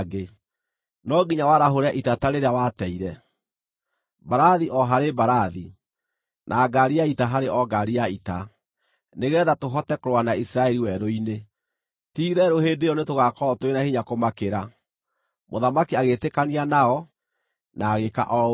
No nginya warahũre ita ta rĩrĩa wateire, mbarathi o harĩ mbarathi, na ngaari ya ita harĩ o ngaari ya ita, nĩgeetha tũhote kũrũa na Isiraeli werũ-inĩ. Ti-itherũ hĩndĩ ĩyo nĩ tũgaakorwo tũrĩ na hinya kũmakĩra.” Mũthamaki agĩĩtĩkania nao na agĩĩka o ũguo.